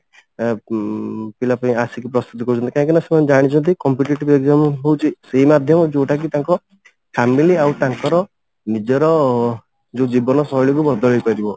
ଆ ଉଁ ପିଲା ପୁଣି ଆସିକି ପ୍ରସ୍ତୁତି କରୁଛନ୍ତି କାହିଁକି ନା ସେମାନେ ଜାଣିଛନ୍ତି competitive exam ହଉଛି ସେଇ ମାଧ୍ୟମ ଯଉଟା କି ତାଙ୍କ family ଆଉ ତାଙ୍କର ନିଜର ଯଉ ଜୀବନ ଶୈଳୀ କୁ ବଦଳେଇପାରିବ